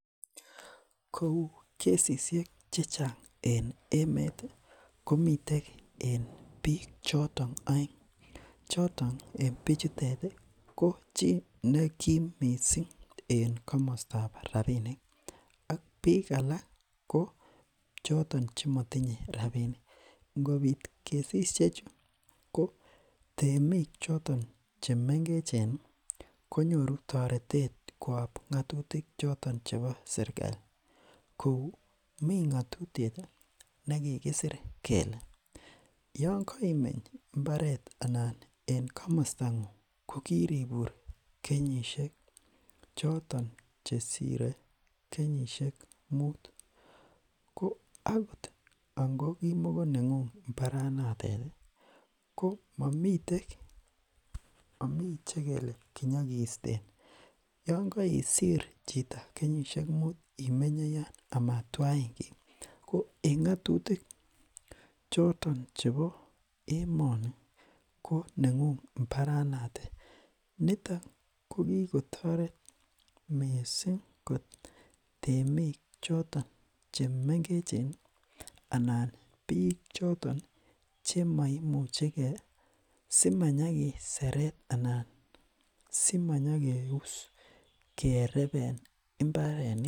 Kou kesisiek chechang en emet komiten en bik choton aeng choton en bichuto ko chi nekim mising en komostab rabisiek ak bik alak ko choton Che motinye rabisiek angobit kesisiek ko temik choton Che mengechen ko nyoru toretet koyob ngatutik choton chebo serkali kou mi ngatutiet nekikisir kele yon kaimeny mbaret anan en komosta ngung kokiribur kenyisiek choton Che sirei kenyisiek muut ko angot ko ki makonengung mbaranatet ko mamiten Che kelelen konyo kisten yon kosir chi kenyisiek mut imenye yoto ama Twain chi ko eng ngatutik choton chebo emoni ko nengung mbaranaton niton ko ki kotoret mising kot temik choton chemengech anan bik choton Che maimuche ge si manyokiseret anan simanyokeus kereben mbarenik